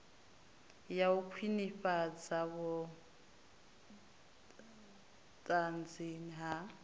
ya u khwinifhadza vhunzani ha